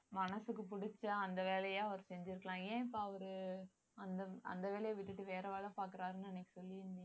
மனசுக்கு புடிச்ச அந்த வேலையை அவர் செஞ்சிருக்கலாம் ஏன் இப்ப அவரு அந்த வேலைய விட்டுட்டு வேற வேலை பாக்குறாருன்னு அன்னைக்கு சொல்லிருந்தீங்க